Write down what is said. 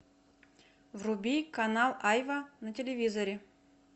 вруби канал айва на телевизоре